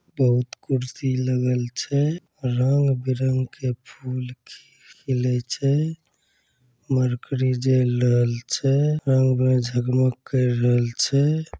बहुत कुर्सी लगल छै रंग बिरंग के फूल खि खीलै छै मरकरी जल रहल छै जगमग कर रहल छै |